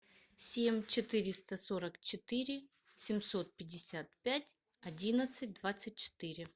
семь четыреста сорок четыре семьсот пятьдесят пять одиннадцать двадцать четыре